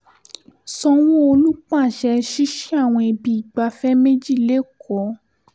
sanwó-olu pàṣẹ ṣíṣí àwọn ibi ìgbafẹ́ méjì lẹ́kọ̀ọ́